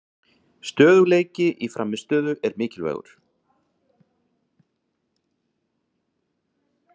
Stöðugleiki í frammistöðu er mikilvægur